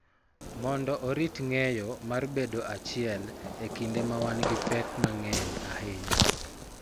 Mondo orit ng�eyo mar bedo achiel e kinde ma wan gi pek mang�eny ahinya.